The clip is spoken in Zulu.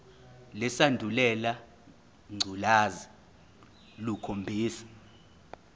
lesandulela ngculazi lukhombisa